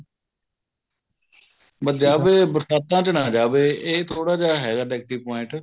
ਬੱਸ ਜਾਵੇ ਬਰਸਾਤਾਂ ਚ ਨਾ ਜਾਵੇ ਇਹ ਥੋੜਾ ਜਾ ਹੈਗਾ negative point